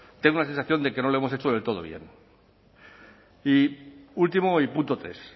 tengo la sensación de que no lo hemos hecho del todo bien y último y punto tres